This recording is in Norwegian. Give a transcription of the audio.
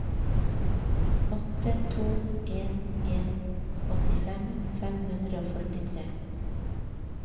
åtte to en en åttifem fem hundre og førtitre